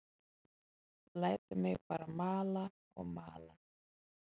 Lætur mig bara mala og mala.